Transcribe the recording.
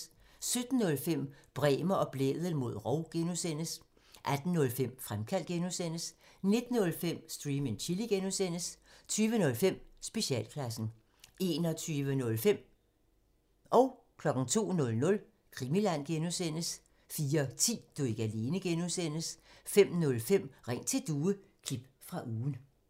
17:05: Bremer og Blædel mod rov (G) 18:05: Fremkaldt (G) 19:05: Stream and Chill (G) 20:05: Specialklassen 21:05: Krimiland (G) 02:00: Krimiland (G) 04:10: Du er ikke alene (G) 05:05: Ring til Due – klip fra ugen